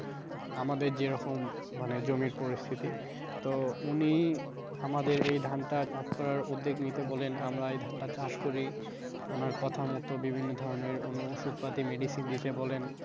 আমাদের যেরকম মানে জমির পরিস্থিতি তো উনি আমাদের এই ধানটা চাষ করার উদ্যোগ নিতে বলেন, আমরা এই ধানটা চাষ করি ওনার কথা মতো বিভিন্ন ধরণের উনি অবশ্য তাতে medicine দিতে বলেন।